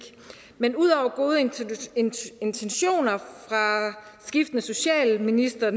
men ud over gode intentioner fra skiftende socialministre